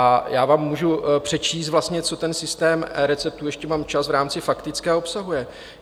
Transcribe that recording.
A já vám můžu přečíst vlastně, co ten systém receptů - ještě mám čas v rámci faktické - obsahuje.